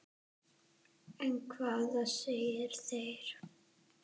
En hvað segja þeir?